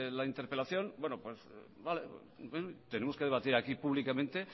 la interpelación tenemos que debatir aquí públicamente